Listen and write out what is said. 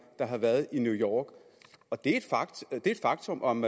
der har været i new york og det er et faktum om